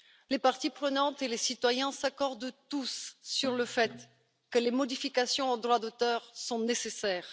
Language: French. Les parties prenantes et les citoyens s'accordent tous sur le fait que les modifications du droit d'auteur sont nécessaires.